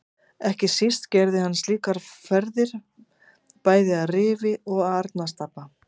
Ekki síst gerði hann slíkar ferðir bæði að Rifi og Arnarstapa.